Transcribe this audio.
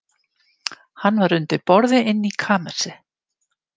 Hann var undir borði inni í kamersi.